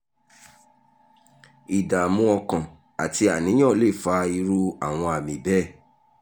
ìdààmú ọkàn àti àníyàn lè fa irú àwọn àmì bẹ́ẹ̀